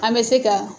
An bɛ se ka